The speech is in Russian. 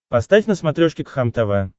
поставь на смотрешке кхлм тв